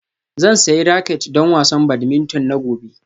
Zan sayi raket don wasan badminton na gobe